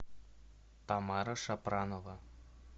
тамара шапранова